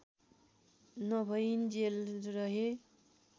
नभइञ्जेल रहे